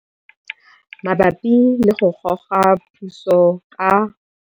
Mabapi le go Goga Puso ka.